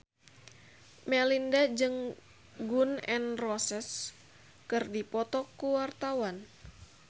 Melinda jeung Gun N Roses keur dipoto ku wartawan